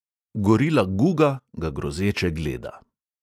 Gorila guga ga grozeče gleda.